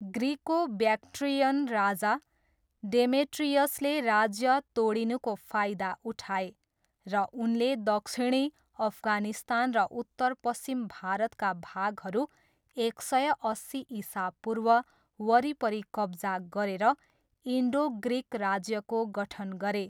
Greco Bactrian राजा, डेमेट्रियसले राज्य तोडिनुको फायदा उठाए, र उनले दक्षिणी अफगानिस्तान र उत्तरपश्चिम भारतका भागहरू एक सय अस्सी इसापूर्व वरिपरि कब्जा गरेर, इन्डो ग्रिक राज्यको गठन गरे।